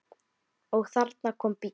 Og þarna kom bíll.